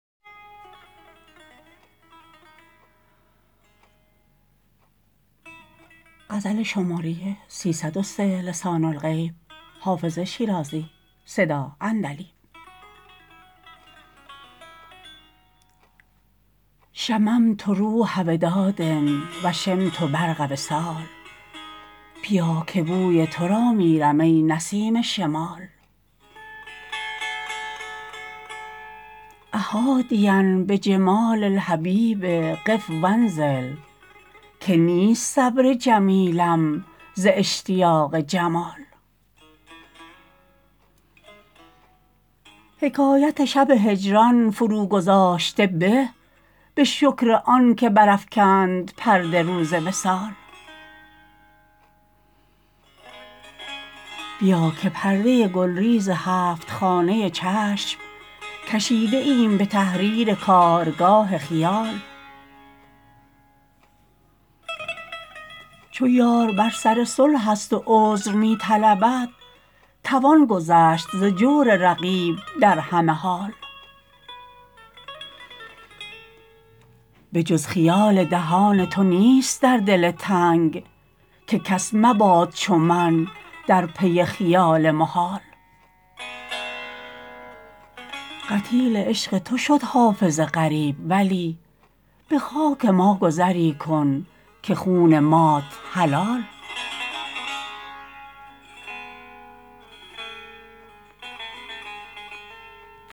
شممت روح وداد و شمت برق وصال بیا که بوی تو را میرم ای نسیم شمال أ حادیا بجمال الحبیب قف و انزل که نیست صبر جمیلم ز اشتیاق جمال حکایت شب هجران فروگذاشته به به شکر آن که برافکند پرده روز وصال بیا که پرده گلریز هفت خانه چشم کشیده ایم به تحریر کارگاه خیال چو یار بر سر صلح است و عذر می طلبد توان گذشت ز جور رقیب در همه حال به جز خیال دهان تو نیست در دل تنگ که کس مباد چو من در پی خیال محال قتیل عشق تو شد حافظ غریب ولی به خاک ما گذری کن که خون مات حلال